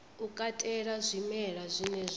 u katela zwimela zwine zwa